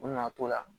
U nana t'o la